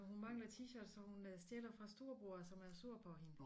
Og hun mangler T-shirts så hun stjæler fra storebror som er sur på hende